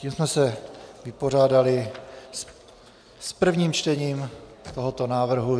Tím jsme se vypořádali s prvním čtením tohoto návrhu.